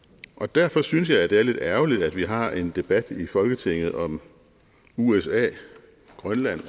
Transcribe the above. derfor synes jeg det er lidt ærgerligt at vi har en debat i folketinget om usa grønland og